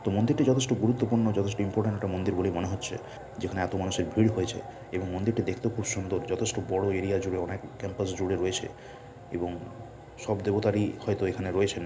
মন্দিরটি যথেষ্ট গুরুত্বপূর্ণ যথেষ্ট ইম্পট্যান্ট একটি মন্দির বলে মনে হচ্ছে যেখানে এত মানুষের ভিড় হয়েছে এবং মন্দিরটি দেখতেও খুব সুন্দর। যথেষ্ট বড় এরিয়া জুড়ে অনেক ক্যাম্পাস জুড়ে রয়েছে এবং সব দেবতা হয়তো এখানে রয়েছেন ।